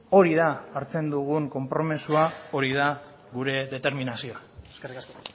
hori da hartzen dugun konpromisoa hori da gure determinazio eskerrik asko